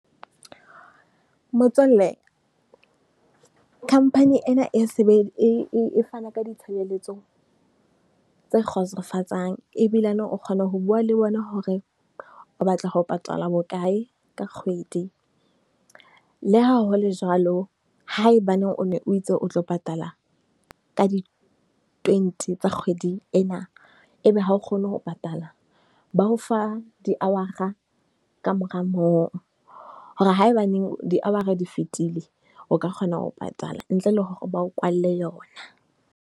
Motswalle Company ena e se e fana ka ditshebeletso tse kgotsofatsang ebilane. O kgona ho bua le bona hore o batla ho patala bokae ka kgwedi. Leha ho le jwalo, haebaneng o ne o itse o tlo patala ka di twenty tsa kgwedi ena, e be ha o kgone ho patala. Ba o fa di hora ka mora moo hore haebaneng di-hour-a di fitile, o ka kgona ho patala ntle le hore ba o kwalle yona.